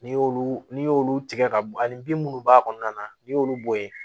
N'i y'olu n'i y'olu tigɛ ka b ani bin munnu b'a kɔnɔna na n'i y'olu bɔ yen